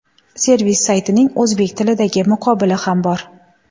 Servis saytining o‘zbek tilidagi muqobili ham bor.